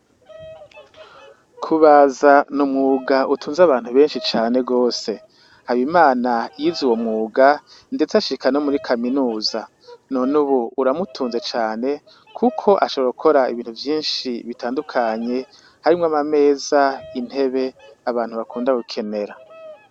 Kubaza n'umwuga utunze abantu beshi cane gose Habimana yize uwo mwuga ndetse ashika no muri kaminuza none ubu uramutunze cane kuko ashobora gukora ibintu vyishi bitandutakanye harimwo amameza intebe abantu bakunda gukenera.